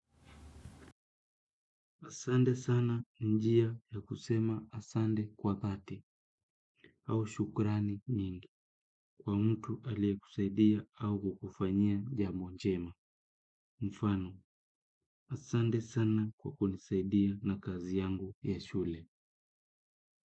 Asante sana ni njia ya kusema asante kwa dhati, au shukrani mingi, kwa mtu aliyekusaidia au kukufanya jambo njema. Mfano, asante sana kwa kunisaidia na kazi yangu ya shule.